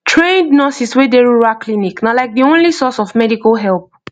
trained nurses wey dey rural clinic na like the only source of medical help